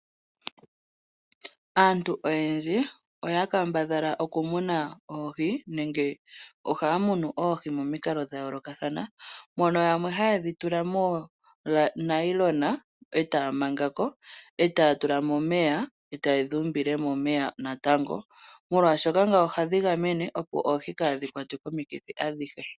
Aantu oyendji ohaya munu oohi momikalo dha yoolokathana ,mono yamwe haye dhi tula moonayilona e taya manga ko, e taya tula mo omeya, e taye dhi umbile momeya natango, molwaashoka ngawo ohadhi gamene,.opo oohi kaadhi kwatwe komikithi ashihe.